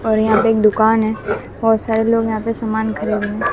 और यहां पे एक दुकान है बहुत सारे लोग यहां पे समान खरीद रहे हें।